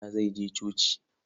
Peter zai je coci.